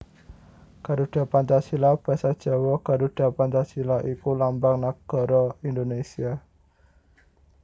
Garuda Pancasila basa Jawa Garudha Pancasila iku lambang nagara Indonésia